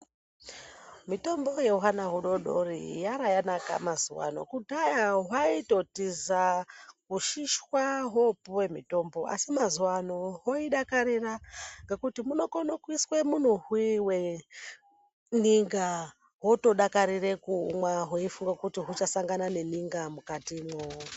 Mitombo yehwana hudodori yara yanaka mazuwaano. Kudhaya hwaitotiza ,kushishwa hwopuwe mitombo, asi mazuwaano hwoidakarira ngekuti munokone kuiswe munuhwi weninga hwotodakarire kuumwa, hweifunge kuti huchasangana neninga mukatimwo.